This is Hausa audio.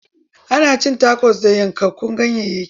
Ana cin takos da yankakkun ganyayyaki.